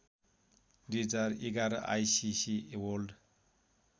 २०११ ICC world